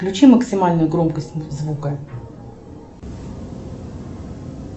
включи максимальную громкость звука